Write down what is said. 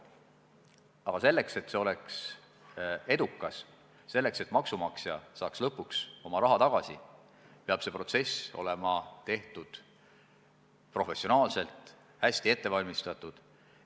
Aga selleks, et see oleks edukas, selleks, et maksumaksja saaks lõpuks oma raha tagasi, peab see protsess olema läbi viidud professionaalselt ja hästi ette valmistatud.